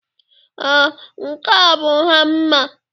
Ee, nke a bụ hama